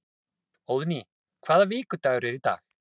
Óðný, hvaða vikudagur er í dag?